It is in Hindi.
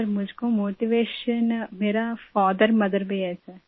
सर मुझको मोटिवेशन मेरा फादरमदर में है सर